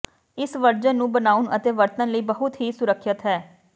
ਇਸ ਵਰਜਨ ਨੂੰ ਬਣਾਉਣ ਅਤੇ ਵਰਤਣ ਲਈ ਬਹੁਤ ਹੀ ਸੁਰੱਖਿਅਤ ਹੈ